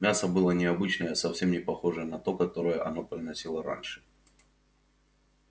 мясо было необычное совсем не похожее на то которое она приносила раньше